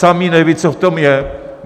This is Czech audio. Sami nevědí, co v tom je.